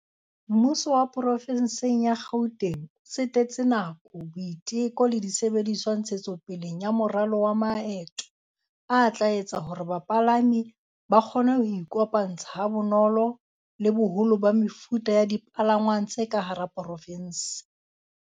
"Mmuso wa Porofenseng ya Gauteng o tsetetse nako, boiteko le disebediswa ntshetsopeleng ya moralo wa maeto o tla etsang hore bapalami ba kgone ho iko pantsha ha bonolo le boholo ba mefuta ya dipalangwang tse ka hara porofense."